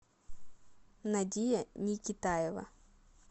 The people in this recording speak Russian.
надия никитаева